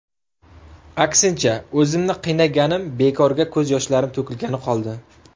Aksincha o‘zimni qiynaganim, bekorga ko‘z yoshlarim to‘kilgani qoldi.